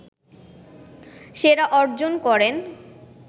সেরা অর্জন করেন